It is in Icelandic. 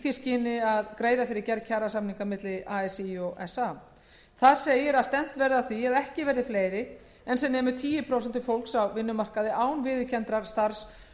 því skyni að greiða fyrir gerð kjarasamninga milli alþýðusambands íslands og samtaka atvinnulífsins þar segir að stefnt verði að því að ekki verði fleiri en sem nemur tíu prósent fólks á vinnumarkaði án viðurkenndrar starfs